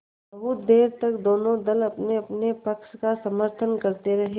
बहुत देर तक दोनों दल अपनेअपने पक्ष का समर्थन करते रहे